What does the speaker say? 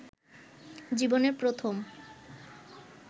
জীবনের প্রথম